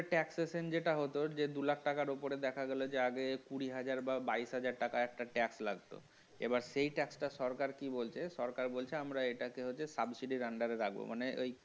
tax season যেটা হলো যে দু লাখ টাকার টাকার ওপরে দেখা গেল যে আগে কুড়ি হাজার বা বাইশ হাজার টাকা একটা tax লাগতো এবার সেই tax টা সরকার কি বলছে সরকার বলছে আমরা এটা subsidy এর under এ রাখবো মানে